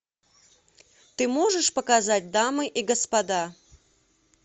ты можешь показать дамы и господа